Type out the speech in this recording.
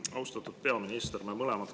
Austatud peaminister!